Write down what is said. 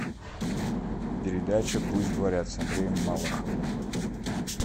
передача пусть говорят с андреем малаховым